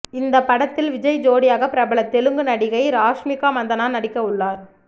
இந்த படத்தில் விஜய் ஜோடியாக பிரபல தெலுங்கு நடிகை ராஷ்மிகா மந்தனா நடிக்கவுள்ளார்